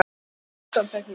Hann gerir undantekningu.